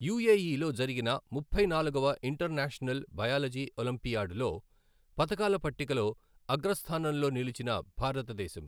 యూఏఈలో జరిగిన ముప్పై నాలుగవ ఇంటర్నేషనల్ బయాలజీ ఒలింపియాడ్ లో పతకాల పట్టికలో అగ్రస్థానంలో నిలిచిన భారతదేశం